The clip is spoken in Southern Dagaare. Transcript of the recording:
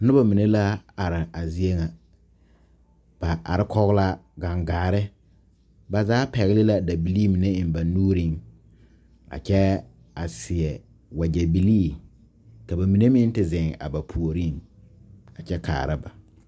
Noba mine la are a zie ŋa ba are kɔge la gangaare ba zaa pɛgle la dabilii mine eŋ ba nuuriŋ a kyɛ a seɛ wagyɛbilii ka ba mine meŋ te zeŋ a ba puoriŋ a kyɛ kaara ba.